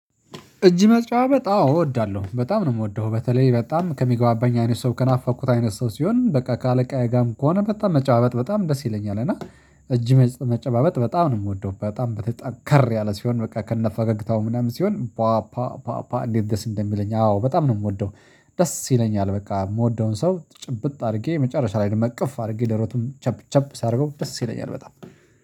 እጅ መጨባበጥ አዎ እወዳለሁ በጣም ነው የምወደው በተለይ በጣም ከሚገባባኝ አይነት ሰው ከናፋኩት አይነት ሰው ሲሆን በቃ ከአለቃዬ ጋርም ከሆነ በጣም መጨባበጥ በጣም ደስ ይለኛል እና እጅ መጨባበጥ በጣም ነው የምወደው በጣም በተጠንከር ያለ ሲሆን በቃ ከነ ፈገግታው ምናምን ሲሆን ባፓ ባፓ እንዴት ደስ እንደሚለኝ አዎ በጣም ነው የምወደው። ደስ ይለኛል በቃ የምወደውን ሰው ጭብጥ አድርጌ የመጨረሻ ላይ እንደምንቀፍ አድርጌ ደሮቱም ጨብ ጨብ ሳደርገው ደስ ይለኛል በጣም